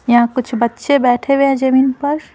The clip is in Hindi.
यहां कुछ बच्चे बैठे हुए हैं जमीन पर।